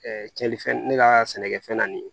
cɛnlifɛn ne ka sɛnɛkɛfɛn na nin ye